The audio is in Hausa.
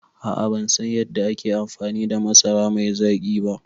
A'a bansan yadda ake amfani da masara mai zaƙi ba